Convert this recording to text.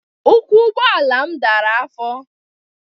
Ụkwụ abụọ ụgbọala m dara afọ.